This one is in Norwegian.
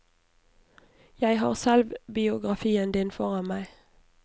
Jeg har selvbiografien din foran meg.